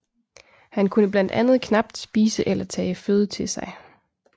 Han kunne blandt andet knapt spise eller tage føde til sig